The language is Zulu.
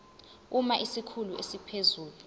uma isikhulu esiphezulu